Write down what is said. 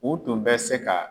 U tun bɛ se ka